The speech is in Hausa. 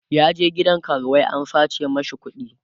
ya je gidan karuwai an sace mashi kuɗi